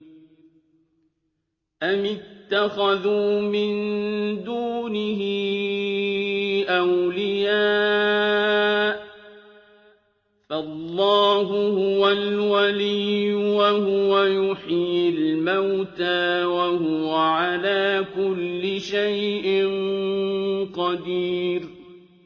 أَمِ اتَّخَذُوا مِن دُونِهِ أَوْلِيَاءَ ۖ فَاللَّهُ هُوَ الْوَلِيُّ وَهُوَ يُحْيِي الْمَوْتَىٰ وَهُوَ عَلَىٰ كُلِّ شَيْءٍ قَدِيرٌ